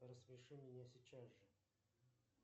рассмеши меня сейчас же